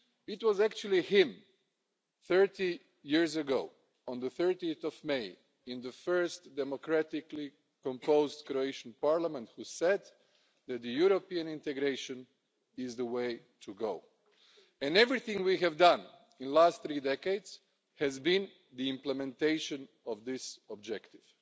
It was actually he, 30 years ago on 30 May in the first democratically-composed Croatian Parliament, who said that European integration is the way to go, and everything we have done in the last three decades has been the implementation of this objective.